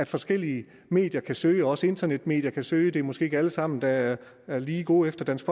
forskellige medier kan søge også internetmedier kan søge det er måske ikke alle sammen der er er lige gode efter dansk